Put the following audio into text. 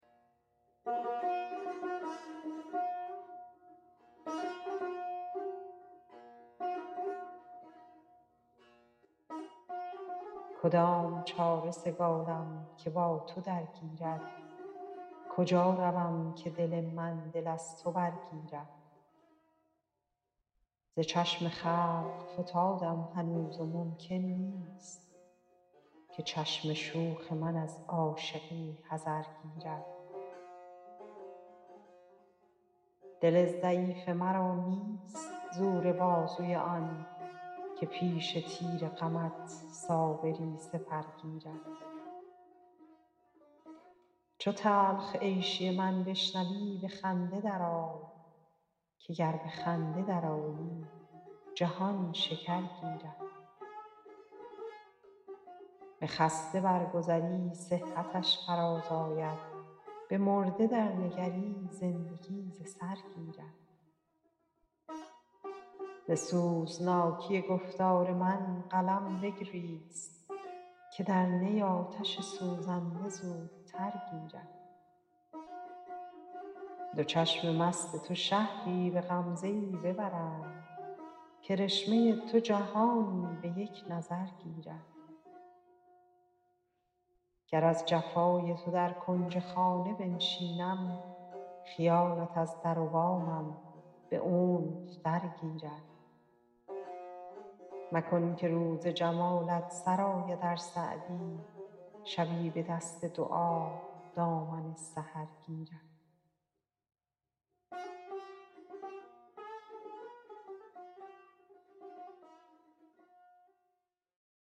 کدام چاره سگالم که با تو درگیرد کجا روم که دل من دل از تو برگیرد ز چشم خلق فتادم هنوز و ممکن نیست که چشم شوخ من از عاشقی حذر گیرد دل ضعیف مرا نیست زور بازوی آن که پیش تیر غمت صابری سپر گیرد چو تلخ عیشی من بشنوی به خنده درآی که گر به خنده درآیی جهان شکر گیرد به خسته برگذری صحتش فرازآید به مرده درنگری زندگی ز سر گیرد ز سوزناکی گفتار من قلم بگریست که در نی آتش سوزنده زودتر گیرد دو چشم مست تو شهری به غمزه ای ببرند کرشمه تو جهانی به یک نظر گیرد گر از جفای تو در کنج خانه بنشینم خیالت از در و بامم به عنف درگیرد مکن که روز جمالت سر آید ار سعدی شبی به دست دعا دامن سحر گیرد